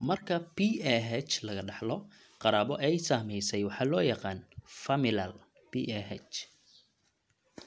Marka PAH laga dhaxlo qaraabo ay saamaysay waxa loo yaqaan "familial" PAH.